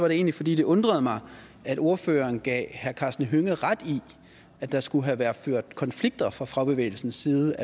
egentlig fordi det undrede mig at ordføreren gav herre karsten hønge ret i at der skulle have været ført konflikter fra fagbevægelsens side